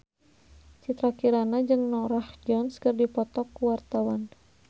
Citra Kirana jeung Norah Jones keur dipoto ku wartawan